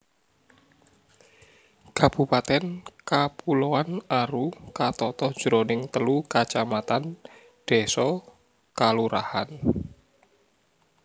Kabupatèn Kapuloan Aru katata jroning telu kacamatan désa/kalurahan